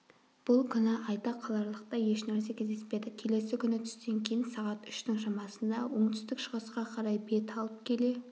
бұл күні айта қаларлықтай ешнәрсе кездеспеді келесі күні түстен кейін сағат үштің шамасында оңтүстік-шығысқа қарай бет алып келе